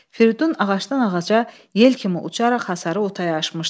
Fridun ağacdan ağaca yel kimi uçaraq hasarı otaya aşmışdı.